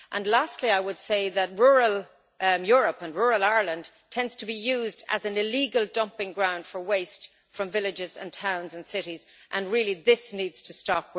Lastly, I would say that rural Europe, including rural Ireland, tends to be used as an illegal dumping ground for waste from villages, towns and cities, and this needs to stop.